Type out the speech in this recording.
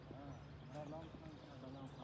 Hə, burda nəsə dayanıb.